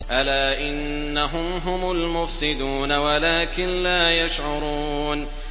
أَلَا إِنَّهُمْ هُمُ الْمُفْسِدُونَ وَلَٰكِن لَّا يَشْعُرُونَ